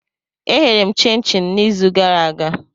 Eghere m chin-chin n'izu gara aga.